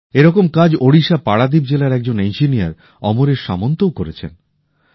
এরকম কাজ ওড়িশার পারাদীপ জেলার একজন ইঞ্জিনিয়র অমরেশ সামন্তও করেছেন